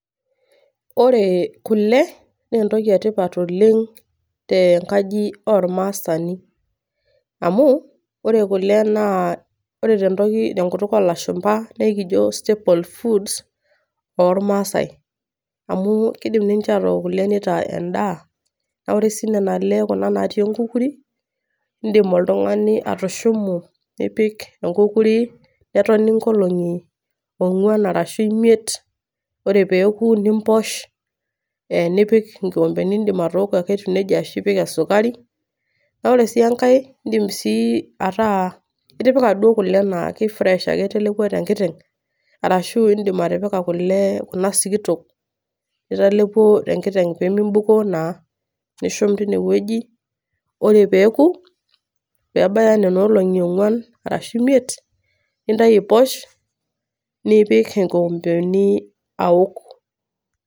Ore kule, nentoki etipat oleng' tenkaji ormaasani. Amu, ore kule naa, ore tentoki tenkutuk olashumpa, nekijo stable foods, ormaasai. Amu kidim ninche atook kule nitaa endaa, na ore si nena ale kuna natii enkukuri, idim oltung'ani atushumu, nipik enkukuri, netoni nkolong'i ong'uan arashu imiet, ore peku nimposh, nipik inkompeni, idim ake atooko etiu nejia ashu ipik esukari. Na ore si enkae, idim si ataa itipika duo kule naa ke fresh ake itelepuo tenkiteng', ashu idim atipika kule kuna sikitok, nitalepuo tenkiteng', pemibukoo naa. Nishum tinewueji, ore peku, pebaya nenolong'i ong'uan, arashu imiet, nintayu aiposh, nipik inkoompeni aok.